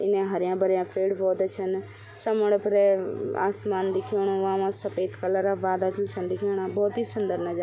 इने हर्या भर्या पेड़ पौधा छन समण फरे अ आसमान दिखेणु वामा सपेद कलरा बादल भी छन दिखेणा भोत ही सुन्दर नजार।